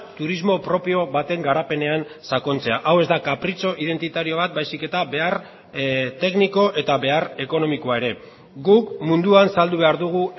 turismo propio baten garapenean sakontzea hau ez da kapritxo identitario bat baizik eta behar tekniko eta behar ekonomikoa ere guk munduan saldu behar dugu